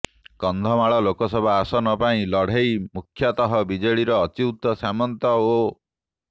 କନ୍ଧମାଳ ଲୋକସଭା ଆସନ ପାଇଁ ଲଢେ଼ଇ ମୁଖ୍ୟତଃ ବିଜେଡିର ଅଚ୍ୟୁତ ସାମନ୍ତ ଓ